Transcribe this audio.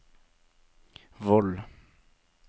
Voll